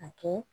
A kɛ